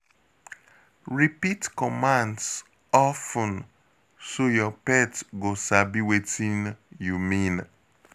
Repeat commands of ten so your pet go sabi wetin you mean.